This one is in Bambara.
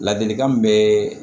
Ladilikan min bɛ